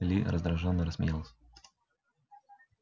ли раздражённо рассмеялся